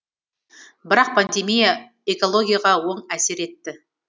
бірақ пандемия экологияға оң әсер етті